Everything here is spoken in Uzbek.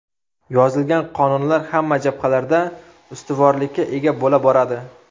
Yozilgan qonunlar hamma jabhalarda ustuvorlikka ega bo‘la boradi.